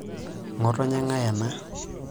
Ng'otonye ng'ae ena?